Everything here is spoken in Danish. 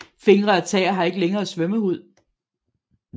Fingre og tæer har ikke længere svømmehud